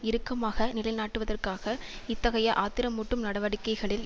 இறுக்கமாக நிலை நாட்டுவதற்காக இத்தகைய ஆத்திரமூட்டும் நடவடிக்கைகளில்